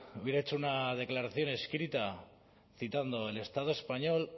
hubiera hecho una declaración escrita citando el estado español